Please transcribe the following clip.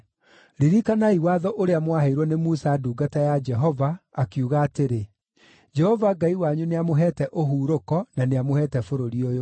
“Ririkanai watho ũrĩa mwaheirwo nĩ Musa ndungata ya Jehova, akiuga atĩrĩ, ‘Jehova Ngai wanyu nĩamũheete ũhurũko na nĩamũheete bũrũri ũyũ.’